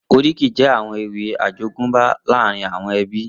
Oríkì jè áwòn éwì àjógùnbá làárín áwòn èbí